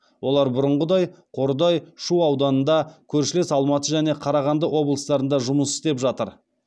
олар бұрынғыдай қордай шу ауданында көршілес алматы және қарағанды облыстарында жұмыс істеп жатыр